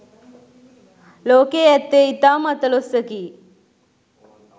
ලෝකයේ ඇත්තේ ඉතාම අතලොස්සකි